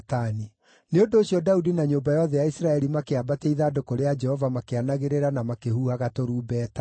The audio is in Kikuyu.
nĩ ũndũ ũcio Daudi na nyũmba yothe ya Isiraeli makĩambatia ithandũkũ rĩa Jehova makĩanagĩrĩra na makĩhuhaga tũrumbeta.